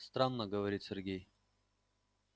странно говорит сергей